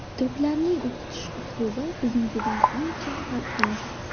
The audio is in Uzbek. Turklarning o‘qitish uslubi biznikidan ancha farq qiladi.